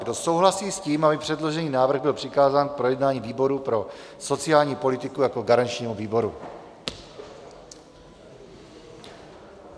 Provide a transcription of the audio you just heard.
Kdo souhlasí s tím, aby předložený návrh byl přikázán k projednání výboru pro sociální politiku jako garančnímu výboru?